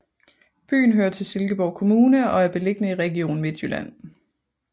Byen hører til Silkeborg Kommune og er beliggende i Region Midtjylland